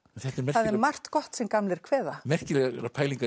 það er margt gott sem gamlir kveða merkilegar pælingar